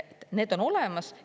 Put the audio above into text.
Need on olemas.